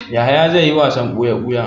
Yahaya zai yi wasan buya-buya.